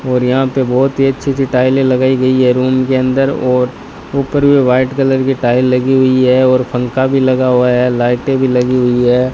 और यहां पे बहुत ही अच्छी सी टाइलें लगाई गई है रूम के अंदर और ऊपर भी वाइट कलर की टाइल लगी हुई है और पंखा भी लगा हुआ है लाइटें भी लगी हुई है।